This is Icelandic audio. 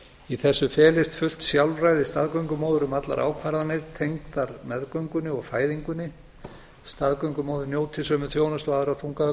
í þessu felist fullt sjálfræði staðgöngumóður um allar ákvarðanir tengdar meðgöngunni og fæðingunni staðgöngumóðir njóti sömu þjónustu og aðrar þungaðar